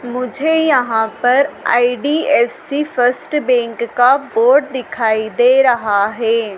मुझे यहां पर आई_डी_एफ_सी फर्स्ट बैंक का बोर्ड दिखाई दे रहा है।